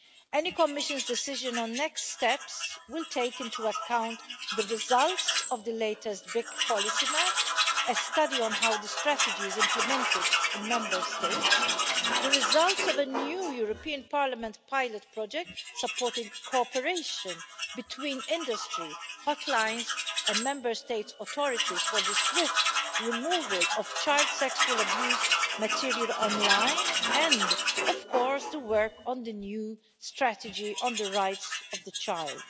Any Commission decision on next steps will take into account the results of the latest big policy map, a study on how the strategy is implemented in Member States, the results of a new European Parliament pilot project supporting cooperation between industry hotlines and Member States' authorities for the swift removal of child sexual abuse material online, and, of course, the work on the new strategy on the rights of the child.